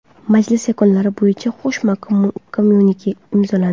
Majlis yakunlari bo‘yicha qo‘shma kommyunike imzolandi.